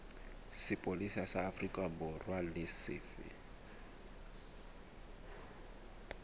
sepolesa sa aforikaborwa e lefe